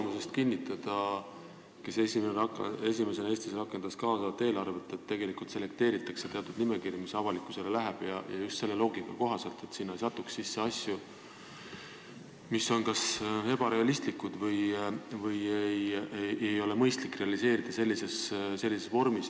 Ma saan kinnitada Tartu kogemusest, kus esimesena Eestis rakendati kaasavat eelarvet, et tegelikult selekteeritakse nimekirju, mis avalikkusele lähevad, ja just selle loogika kohaselt, et sinna ei satuks sisse asju, mis on kas ebarealistlikud või mida ei ole mõistlik realiseerida sellises vormis.